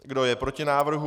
Kdo je proti návrhu?